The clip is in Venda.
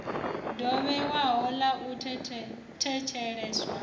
ḓo vhewaho ḽa u thetsheleswa